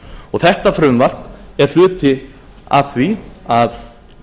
og þetta frumvarp er hluti af því að